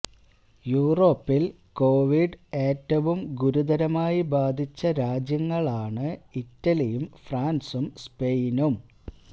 യൂറോപ്പിൽ കോവിഡ് ഏറ്റവും ഗുരുതരമായി ബാധിച്ച രാജ്യങ്ങളാണ് ഇറ്റലിയും ഫ്രാൻസും സ്പെയിനും